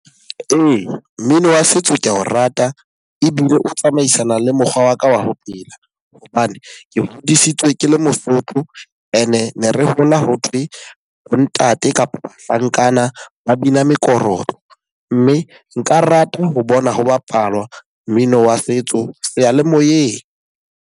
Ee, mmino wa setso ke a o rata ebile o tsamaisana le mokgwa wa ka wa ho phela. Hobane ke hodisitswe ke le Mosotho. E ne re hola ho thwe bo ntate kapa bahlankana ba bina mekorotlo. Mme nka rata ho bona ho bapalwa mmino wa setso seyalemoyeng.